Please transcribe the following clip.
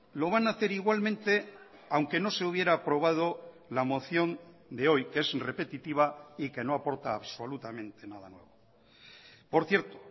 lo van a hacer igualmente aunque no se hubiera aprobado la moción de hoy que es repetitiva y que no aporta absolutamente nada nuevo por cierto